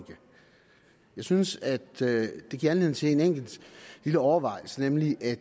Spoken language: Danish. synes at det giver anledning til en enkelt lille overvejelse nemlig at